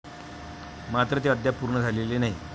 मात्र ते अद्याप पूर्ण झालेले नाही.